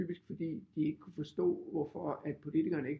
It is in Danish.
Typisk fordi de ikke kunne forstå hvorfor politikerne ikke